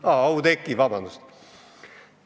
Aa, Oudekki, vabandust!